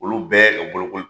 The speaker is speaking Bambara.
Olu bɛɛ ka bolokoli